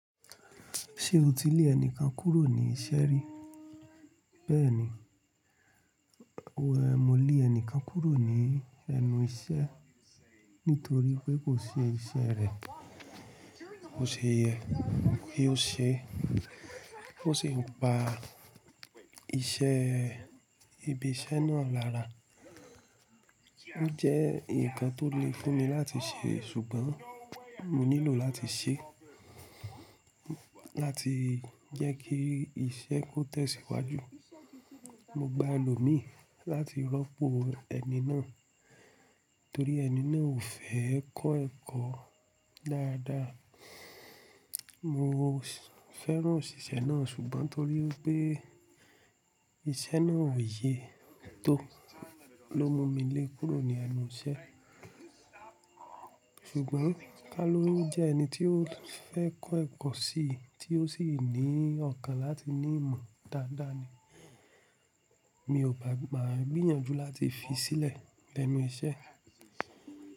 Ṣé o ti le ẹnikan kúrò ní iṣẹ́ rí? Bẹ́ẹ̀ni, mo le ẹnikan kúrò ní ẹnu iṣẹ́ nítorí pé kò ṣe iṣẹ́ rẹ̀, bò ṣe yẹ́, kí ó ṣe, oò ṣi pàá iṣẹ́, ibi iṣẹ́ náà lára. Ó jẹ́ ǹkan tó le fún mi láti ṣe ṣùgbọ́n mo nílò láti ṣe, láti jẹ́ kí iṣẹ́ tó tẹ̀síwájú. Mo gba elómì láti rọ́pò ẹni náà torí ẹni náà ò fẹ́ kọ́ ẹ̀kọ́ dáadáa. Mo fẹ́ràn òṣìṣẹ́ náà ṣùgbọ́n torí pé iṣẹ́ náà ò ye tó ló mú mi lé kúrò ní ẹnu iṣẹ́. Ṣùgbọ́n Kaloun jẹ́ ẹni tí ó fẹ́ kọ́ ẹ̀kọ́ síi tí ó sì ní ọkàn láti ní ìmọ̀ dáadáa ni. Mi ò ba maa gbìyànjú láti fi sílẹ̀ lenu iṣẹ́.